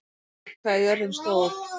Siv, hvað er jörðin stór?